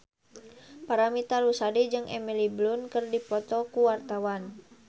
Paramitha Rusady jeung Emily Blunt keur dipoto ku wartawan